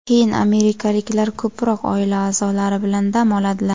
Keyin amerikaliklar ko‘proq oila a’zolari bilan dam oladilar.